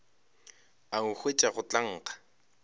a nkhwetša go tla nkga